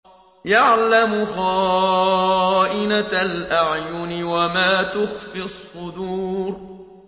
يَعْلَمُ خَائِنَةَ الْأَعْيُنِ وَمَا تُخْفِي الصُّدُورُ